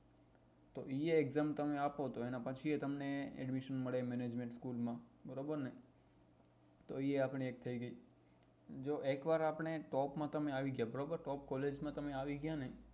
એ exam તમે આપો તો એના પછી એ તમને admission મળે management school માં બરોબર ને તો એ આપડી એક થઇ ગઈ જો એકવાર આપડે top માં તમે આવી ગયા બરોબર top collage માં તમે આવી ગયા ને